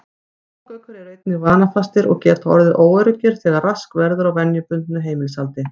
Páfagaukar eru einnig vanafastir og geta orðið óöruggir þegar rask verður á venjubundnu heimilishaldi.